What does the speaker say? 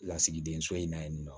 Lasigiden so in na yen nɔ